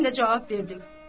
mən də cavab verdim.